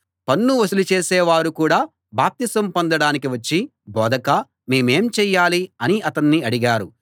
పన్ను వసూలు చేసే వారు కూడా బాప్తిసం పొందడానికి వచ్చి బోధకా మేమేం చేయాలి అని అతన్ని అడిగారు